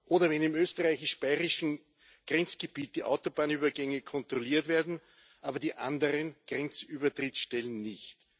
Oder wenn im österreichisch bayrischen Grenzgebiet die Autobahnübergänge kontrolliert werden, aber die anderen Grenzübertrittstellen nicht.